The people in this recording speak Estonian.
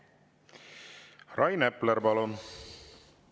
Rain Epler, palun!